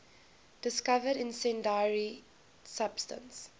discovered incendiary substance